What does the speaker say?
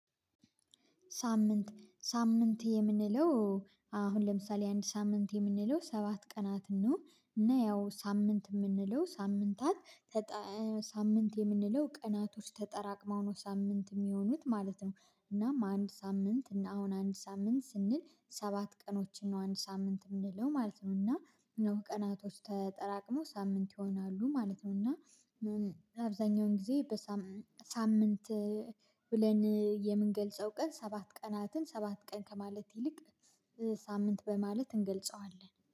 ሳምንት ሳምንት የምንለው አሁን ለምሳሌ አንድ ሳምንት የምንለው ሰባት ቀናት ነው እና ያው ሳምንት የምንለው ሳምንታት በቃ ሳምንት የምንለው ቀናቶች ተጠራቅመው ነው ሳምንት የሚሆኑት ማለት ነው። እናም አንድ ሳምንት እና አሁን አንድ ሳምንት ስንል ሰባት ቀኖችን ነው አንድ ሳምንት የምንለው ማለት ነው እና ቀናቶች ተጠራቅሞ ሳምንት ይሆናሉ ማለት ነው። እና አብዛኛውን ጊዜ በሳምንት ብለን የምንገልጸው ቀን ሰባት ቀናትን ሰባት ቀን ከማለት ይልቅ ሳምንት በማለት እንገልጸዋለን